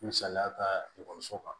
Misaliya ka ekɔliso kan